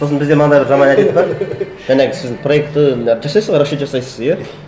сосын бізде мынандай бір жаман әдет бар жаңағы сіздің проекті жасайсыз ғой расчет жасайсыз иә